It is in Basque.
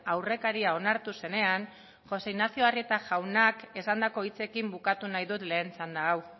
aurrekaria onartu zenean jose ignacio arrieta jaunak esandako hitzekin bukatu nahi dut lehen txanda hau